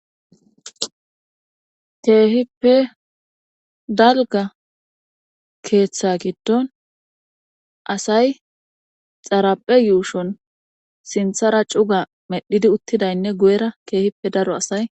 Keehippe dalga keeththa giddon asay xaraphe yuushon sinthara cuga medhidi uttidaynne gu'era keehippe daro asay.